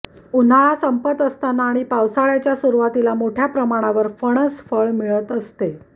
उन्हाळा संपत असताना व पावसाळ्याच्या सुरुवातीला मोठय़ा प्रमाणावर फणस फळ मिळत असते